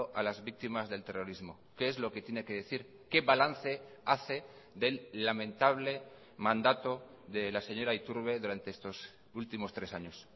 a las víctimas del terrorismo qué es lo que tiene que decir qué balance hace del lamentable mandato de la señora iturbe durante estos últimos tres años